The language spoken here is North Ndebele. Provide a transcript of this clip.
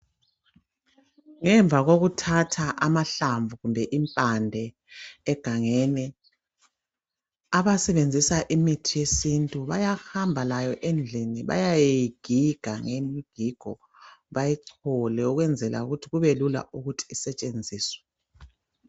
Ngemva kokuthatha amahlamvu kumbe impande egangeni abasebenzisa imithi yesintu bayahamba layo endlini beyeyigiga bayichole ukwenzela ukuthi kube lula ukuthi usentshenziswe.